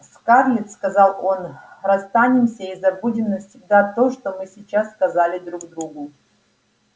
скарлетт сказал он расстанемся и забудем навсегда то что мы сейчас сказали друг другу